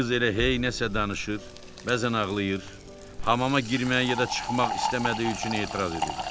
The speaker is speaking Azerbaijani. Qız elə hey nəsə danışır, bəzən ağlayır, hamama girməyə ya da çıxmaq istəmədiyi üçün etiraz edirdi.